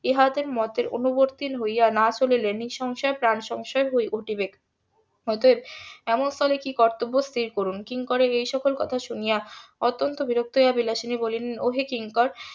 ইহাদের মতের অনুবর্তী হইয়া না চলিলে নিঃসংশয়ে প্রাণ সংশয় ঘটিবে অতএব এমন স্থলে কি কর্তব্য স্থির করুন কিঙ্করের এই সকল কথা শুনিয়া অত্যন্ত বিরক্ত হইয়া বিলাসিনী বলিলেন ও হে কিঙ্কর